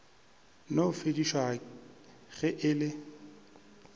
no fedišwa ge e le